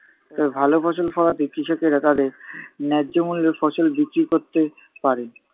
তবে ভালো ফসল ফলাতে কৃষকেরা তাদের ন্যায্য মূল্যে ফসল বিক্রি করতে পারে,